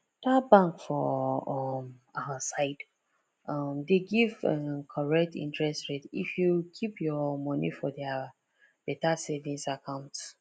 that bank for um our side um dey give um correct interest rate if you keep your money for their better savings account